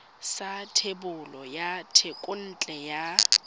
sa thebolo ya thekontle ya